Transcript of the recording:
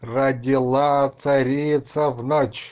родила царица в ночь